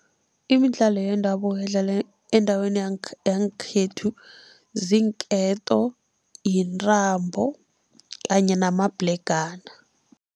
Imidlalo yendabuko edlalwa endaweni yangekhethu ziinketo, yintambo kanye namabhlegana.